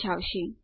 દર્શાવશે